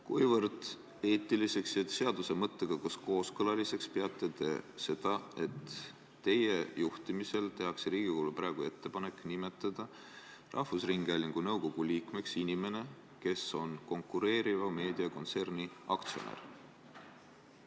Kuivõrd eetiliseks ja seaduse mõttega kooskõlas olevaks peate te seda, et teie juhtimisel tehakse Riigikogule praegu ettepanek nimetada rahvusringhäälingu nõukogu liikmeks inimene, kes on konkureeriva meediakontserni aktsionär?